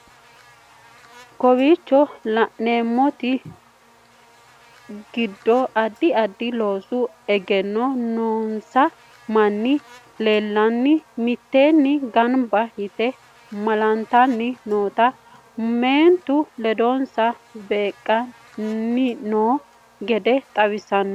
Kowichoo laanemonte geede addi addi loosu eegeno noonsaa maani lelanoo miitenii gaanba yiite maaltanni nootana meentuno leedonsa beekani noo geede xawissano.